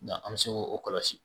Nga an bi se k'o kɔlɔsi.